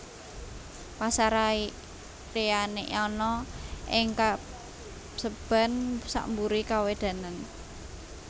Pasareyane ana ing paseban sakmburi kawedanan